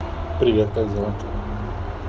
привет как дела